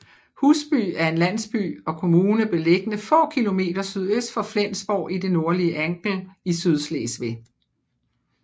Husby er en landsby og kommune beliggende få km sydøst for Flensborg i det nordlige Angel i Sydslesvig